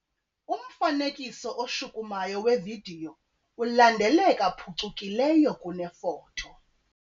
Umfanekiso oshukumayo wevidiyo ulandeleka phucukileyo kunefoto.